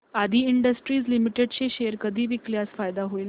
आदी industries limited चे share कधी विकल्यास फायदा होईल